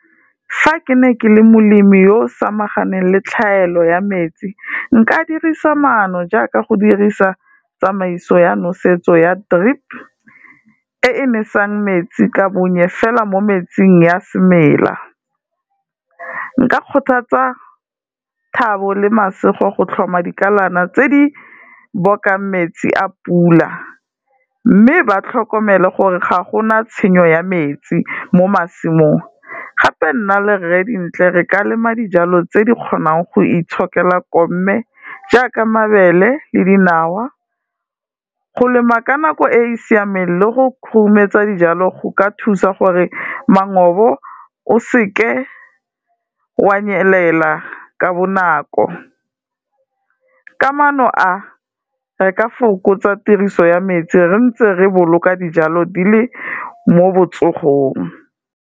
Fa ke ne ke le molemi yo o samaganeng le tlhaelo ya metsi, nka dirisa maano jaaka go dirisa tsamaiso ya nosetso ya drip, e e nesang metsi ka bonye fela mo metsing ya semeela, nka kgothatsa Thabo le Masego go tlhoma dikalana tse di bokang metsi a pula, mme ba tlhokomele gore ga gona tshenyo ya metsi mo masimong, gape nna le Rre Dintle re ka lema dijalo tse di kgonang go itshokela komme jaaka mabele le dinawa. Go lema ka nako e e siameng le go khurumetsa dijalo go ka thusa gore mangobo o seke wa nyelela ka bonako, ka maano a, re ka fokotsa tiriso ya metsi re ntse re boloka dijalo di le mo botsogong.